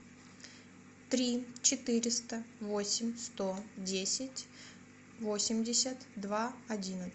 три четыреста восемь сто десять восемьдесят два одиннадцать